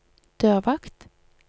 dørvakt